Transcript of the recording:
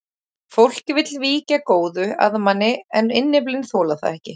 Fólkið vill víkja góðu að manni en innyflin þola það ekki.